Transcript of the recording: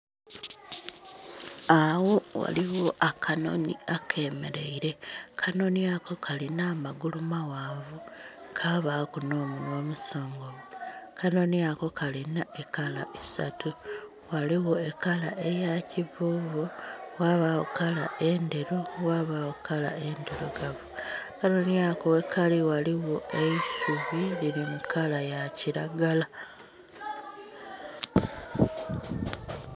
Agho ghaligho akanhonhi akameraire akanhonhi ako kalina amagulu maghanvu kabaku n'omunhwa omusongovu akanhonhi ako kalina ekala isatu ghaligho ekala eyakivuvu, ghabagho kala endheru, ghabagho kala endhirugavu. Akanhonhi ako ghekali ghaligho eisubi liri mukala yakiragala.